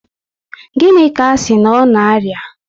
Gịnị ka asị na ọ na aria?